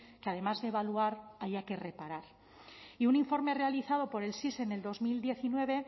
que además de evaluar haya que reparar y un informe realizado por el sis en dos mil diecinueve